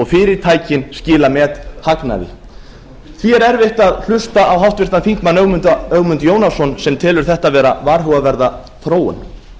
fyrirtækin skila methagnaði því er erfitt að hlusta á háttvirtan þingmann ögmund jónasson sem telur þetta vera varhugaverða þróun